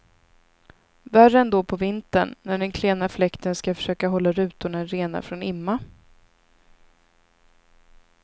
Värre ändå på vintern när den klena fläkten ska försöka hålla rutorna rena från imma.